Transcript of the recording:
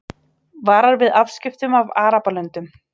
Varar við afskiptum af Arabalöndum